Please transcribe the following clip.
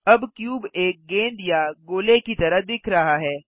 अब क्यूब एक गेद या गोले की तरह दिख रहा है